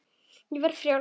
Og ég verði frjáls.